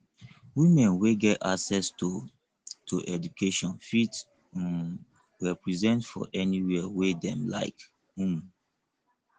women wey get access to to education fit um represent for anywhere wey dem like um